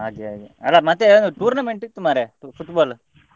ಹಾಗೆ ಹಾಗೆ ಅಲ್ಲ ಮತ್ತೇ tournament ಇತ್ತು ಮಾರ್ರೆ Football .